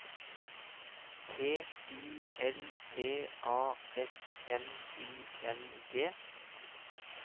T I L P A S N I N G